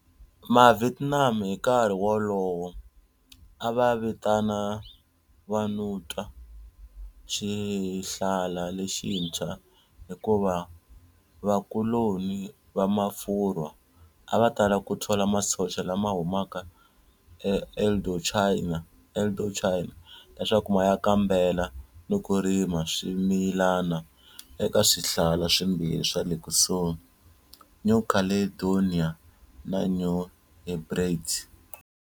Mavietnam hi nkarhi wolowo a va vitana Vanuatu Xihlala Lexintshwa hikuva vakoloni va Mafurwa a va tala ku thola masocha lama humaka eIndochina leswaku ma ya kambela ni ku rima swimilana eka swihlala swimbirhi swa le kusuhi, New Caledonia na New Hebrides